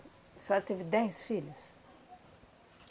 A senhora teve dez filhos?